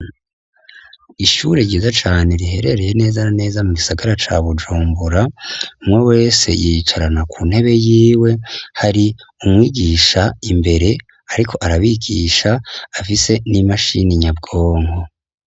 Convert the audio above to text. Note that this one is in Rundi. Ishuri ryiza cane riherereye neza neza mu gisagara ca bujumbura umwe wese yicarana ku ntebe yiwe hari umwigisha imbere, ariko arabigisha afise n'imashini nyabwonko.